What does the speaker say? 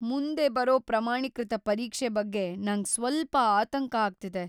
ಮುಂದೆ ಬರೋ ಪ್ರಮಾಣೀಕೃತ ಪರೀಕ್ಷೆ ಬಗ್ಗೆ ನಂಗ್ ಸ್ವಲ್ಪ ಆತಂಕ ಆಗ್ತಿದೆ.